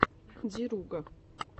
деруга